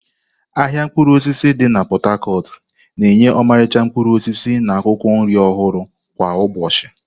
Ahịa mkpụrụ osisi di na Pot-Tacot na-enye ọmarịcha mkpụrụ osisi na akwụkwọ nri ọhụrụ kwa ụbọchị.